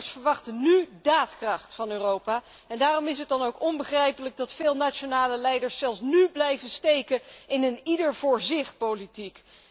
Burgers verwachten nu daadkracht van Europa, en daarom is het dan ook onbegrijpelijk dat veel nationale leiders zelfs nú blijven steken in een ieder voor zich politiek.